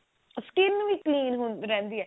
skin ਵੀ plain ਰਹਿੰਦੀ ਹਹੈ